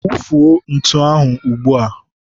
wufuo ntu ahụ ugbua!